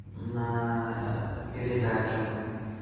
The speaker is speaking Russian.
на передачу